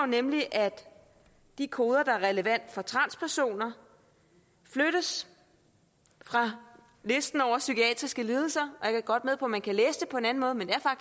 nemlig at de koder der er relevante for transpersoner flyttes fra listen over psykiatriske lidelser jeg er godt med på man kan læse det på en anden måde men det